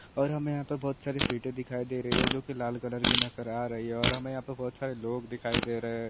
और हमे यहां पे बहुत सारे सीटे दिखाई दे रही है जो कि लाल कलर की नज़र आ रही है जो हमे यहां पर बहुत सारे लोग दिखाई दे रहे है।